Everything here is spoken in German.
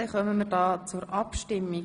Somit kommen wir zur Abstimmung.